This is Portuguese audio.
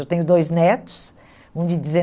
Eu tenho dois netos, um de